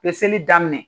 Peseli daminɛ